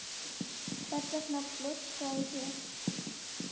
Hvers vegna blöskraði þér?